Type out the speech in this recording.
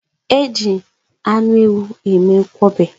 Eji anụ ewu eme nkwobi.